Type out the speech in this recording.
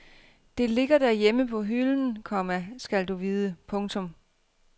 Det ligger derhjemme på hylden, komma skal du vide. punktum